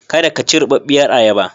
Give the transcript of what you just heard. Kada ka ci rubarbiyar ayaba.